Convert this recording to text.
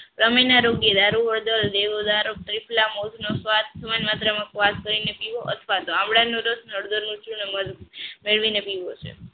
ચામડીના રોગ ની સ્વાદ થોડી માત્રામાં પીવો અથવા તો આમળાનો રસ અને હળદર નો રસ મત ભેળવી નો પીવો